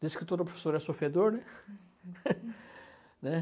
Dizem que toda professora é sofredor, né. né?